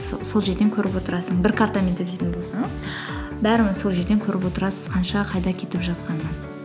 с сол жерден көріп отырасың бір картамен төйлейтін болсаңыз бәрінің сол жерден көріп отырасыз қанша қайда кетіп жатқанын